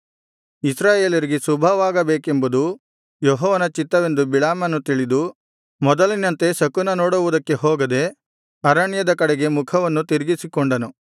ಇಸ್ರಾಯೇಲರಿಗೆ ಶುಭವಾಗಬೇಕೆಂಬುದು ಯೆಹೋವನ ಚಿತ್ತವೆಂದು ಬಿಳಾಮನು ತಿಳಿದು ಮೊದಲಿನಂತೆ ಶಕುನ ನೋಡುವುದಕ್ಕೆ ಹೋಗದೆ ಅರಣ್ಯದ ಕಡೆಗೆ ಮುಖವನ್ನು ತಿರುಗಿಸಿಕೊಂಡನು